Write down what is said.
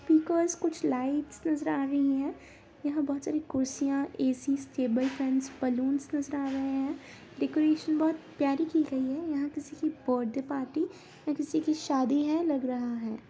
Because कुछ lights नजर आ रही है यहाँ बहुत सारी कुर्सियां ए.सी टेबल फँस बलूंस नजर आ रहे हैं डेकोरेशन बहुत प्यारी की गई है यहाँ किसी की बर्थडे पार्टी या किसी की शादी है लग रहा है।